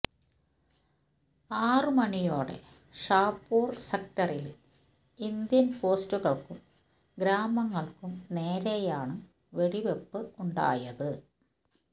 ആറു മണിയോടെ ഷാപുര് സെക്ടറില് ഇന്ത്യന് പോസ്റ്റുകള്ക്കും ഗ്രാമങ്ങള്ക്കും നേരെയാണ് വെടിവയ്പ്പ് ഉണ്ടായത്